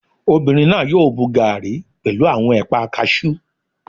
Obìnrin náà yóò mu gaàrí pẹ̀lú àwọn ẹ̀pà kaasú